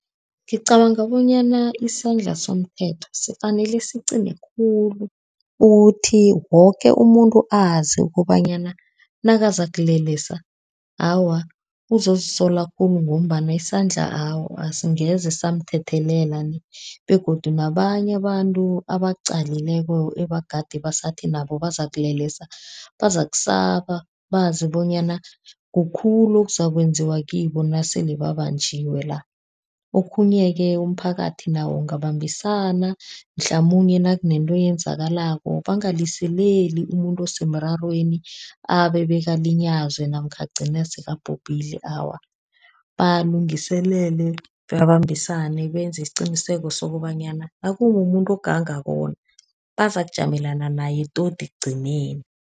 Ngicabanga bonyana isandla somthetho sifanele siqine khulu, ukuthi woke umuntu azi ukobanyana nakazakulelesa, awa uzozisola khulu ngombana isandla awa, asingeze samthethelela nie, begodu nabanye abantu abaqalileko ebagade basathi nabo bazakulelesa, bazakusaba bazi bonyana kukhulu okuzakwenziwa kibo nasele babanjiwe la. Okhunye-ke umphakathi nawo ungabambisana, mhlamunye nakunento eyenzakalako, bangaliseleli umuntu osemrarweni abe bekalinyazwe namkha agcine sekabhubhile awa. Balungiselele, babambisane, benze isiqiniseko sokobanyana nakumumuntu ogangako bona, bazakujamelana naye todi ekugcineni.